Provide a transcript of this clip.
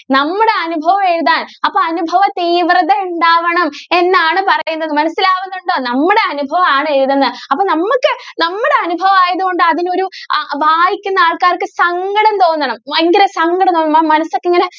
നമ്മുടെ അനുഭവം എഴുതാൻ അപ്പൊ അനുഭവ തീവ്രത ഉണ്ടാകണം എന്നാണ് പറയുന്നത് മനസ്സിലായിട്ടുണ്ടോ നമ്മുടെ അനുഭവം ആണ് എഴുതേണ്ടത് അപ്പൊ നമുക്ക് നമ്മുടെ അനുഭവം ആയതുകൊണ്ട് അതിനൊരു വായിക്കുന്ന ആൾക്കാർക്ക് സങ്കടം തോന്നണം വയങ്കര സങ്കടം തോന്നണം. മനസ്സൊക്കെ ഇങ്ങനെ